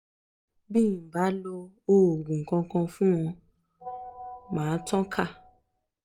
bi n ò bá lo òògùn kankan fun ó máa tàn ká